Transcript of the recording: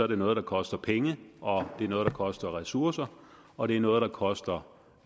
det noget der koster penge og det er noget der koster ressourcer og det er noget der koster